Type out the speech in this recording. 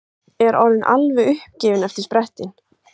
Er orðin alveg uppgefin eftir sprettinn.